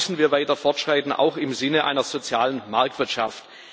Da müssen wir weiter fortschreiten, auch im Sinne einer sozialen Marktwirtschaft.